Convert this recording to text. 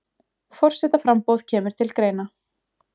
Forsetaframboð kemur til greina